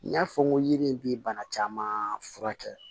N y'a fɔ n ko yiri in bi bana caman furakɛ